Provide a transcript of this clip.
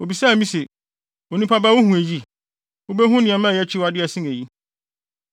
Obisaa me se, “Onipa ba wuhu eyi? Wubehu nneɛma a ɛyɛ akyiwade a ɛsen eyi.”